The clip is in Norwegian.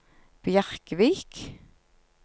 Bjerkvik